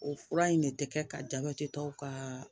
O fura in de tɛ kɛ ka jabɛti tɔw ka